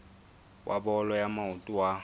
wa bolo ya maoto wa